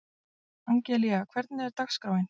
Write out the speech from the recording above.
Angelía, hvernig er dagskráin?